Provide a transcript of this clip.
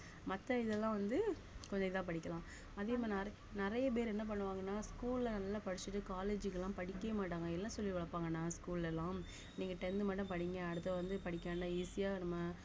மத்த இதெல்லாம் வந்து கொஞ்சம் இதா படிக்கலாம் அதே மாதிரி நிறை~ நிறைய பேர் என்ன பண்ணுவாங்கன்னா school ல நல்லா படிச்சுட்டு college க்கு எல்லாம் படிக்கவே மாட்டாங்க என்ன சொல்லி வளர்ப்பாங்கன்னா school ல எல்லாம் நீங்க tenth மட்டும் படிங்க அடுத்து வந்து படிக்க வேண்டாம் easy அ நம்ம